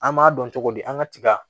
An b'a dɔn cogodi an ka tiga